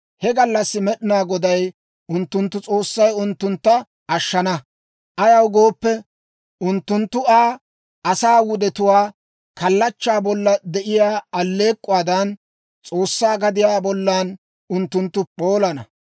He gallassi Med'inaa Goday unttunttu S'oossay unttuntta ashshana; ayaw gooppe, unttunttu Aa asaa wudetuwaa. Kallachchaa bolla de'iyaa alleek'k'uwaadan, S'oossaa gadiyaa bollan unttunttu p'oolana.